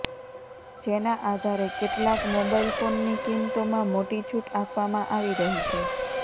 જેના આધારે કેટલાક મોબાઈલ ફોનની કિંમતોમાં મોટી છૂટ આપવામાં આવી રહી છે